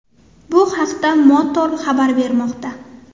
Bu haqda Motor xabar bermoqda .